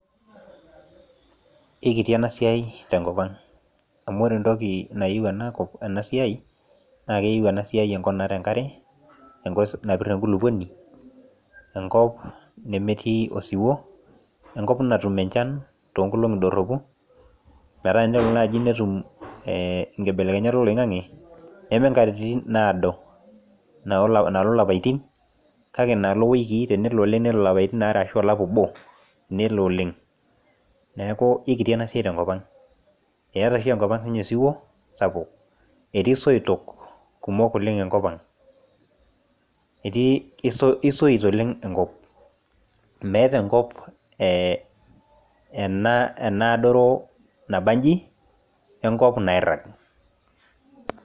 kikiti enasiai tenkopang amu ore entoki nayieu ena siai naa , naa keyieu ena siai enkop natii enkare, napir enkulukuoni ,enkop nemetii osiwuo enkop natum enchan too nkolong'i doropu metaa tenelo naaji netum inkibelekenyat oloing'ang'e, neme inkatitin naado naalo ilapaitin kake inalo iwikii tenelo ashu olapa obo, nelo oleng' neeku kikiti enasiai tenkopang' eeta oshi sii ninye enkopang osiwuo sapuk, etii isoitok kumok oleng' enkopang' kisoit oleng' enkop meeta enkop ena adoro nabaji enkop nairang'.